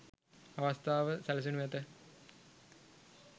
අවස්ථාව සැලසෙනු ඇත.